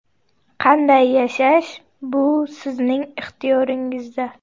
Qanday yashash – bu sizning ixtiyoringizda.